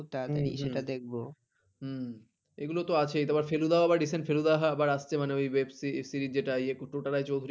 এগুলো তো আছেই তারপর ফেলুদাও আবার recent ফেলুদাও আসছে মানে ওই web series যেটা ইয়ে টোটা রায়চৌধুরী